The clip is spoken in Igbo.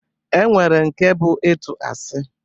E nwere nke bụ ịtụ asị